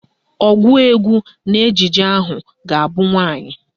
Ọgụụ egwu n'ejije ahụ ga-abụ nwaanyị